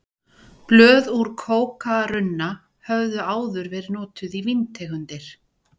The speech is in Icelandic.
Blöð úr kókarunna höfðu áður verið notuð í víntegundir.